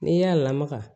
N'i y'a lamaga